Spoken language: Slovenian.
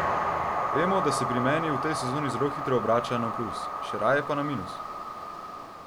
Vemo, da se pri meni v tej sezoni zelo hitro obrača na plus, še raje pa na minus.